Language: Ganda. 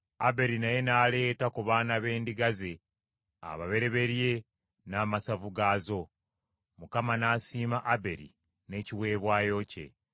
Aberi naye n’aleeta ku baana b’endiga ze ababereberye n’amasavu gaazo. Mukama n’asiima Aberi n’ekiweebwayo kye.